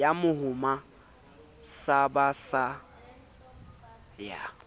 ya mohoma sa basa ya